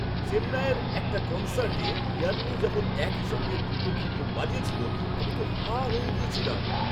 চেন্নাইয়ের একটা কনসার্টে ইয়ান্নি যখন একই সঙ্গে দুটো কীবোর্ড বাজিয়েছিল, আমি তো হাঁ হয়ে গিয়েছিলাম!